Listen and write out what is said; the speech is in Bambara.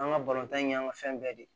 An ka balontan in y'an ka fɛn bɛɛ de ye